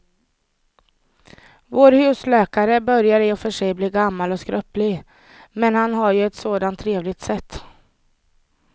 Vår husläkare börjar i och för sig bli gammal och skröplig, men han har ju ett sådant trevligt sätt!